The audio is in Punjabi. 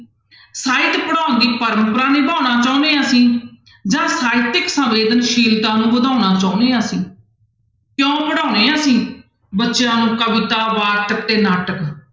ਸਾਹਿਤ ਪੜ੍ਹਾਉਣ ਦੀ ਪਰੰਪਰਾ ਨਿਭਾਉਣਾ ਚਾਹੁੰਦੇ ਹਾਂ ਅਸੀਂ ਜਾਂ ਸਾਹਿਤਿਕ ਸੰਵੇਦਨਸ਼ੀਲਤਾ ਨੂੰ ਵਧਾਉਣਾ ਚਾਹੁੰਦੇ ਹਾਂ ਅਸੀਂ, ਕਿਉਂ ਪੜ੍ਹਾਉਂਦੇ ਹਾਂ ਅਸੀਂ ਬੱਚਿਆਂ ਨੂੰ ਕਵਿਤਾ, ਵਾਰਤਕ ਤੇ ਨਾਟਕ।